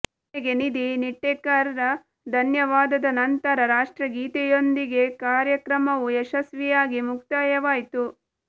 ಕೊನೆಗೆ ನಿಧಿ ನಿಟ್ಟೇಕರ್ ರ ಧನ್ಯವಾದದ ನಂತರ ರಾಷ್ಟ್ರಗೀತೆಯೊಂದಿಗೆಕಾರ್ಯಕ್ರಮವು ಯಶಸ್ವಿಯಾಗಿ ಮುಕ್ತಾಯವಾಯ್ತು